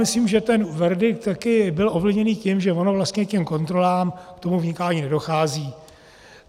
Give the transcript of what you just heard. Myslím, že ten verdikt také byl ovlivněn tím, že ono vlastně k těm kontrolám, k tomu vnikání nedochází.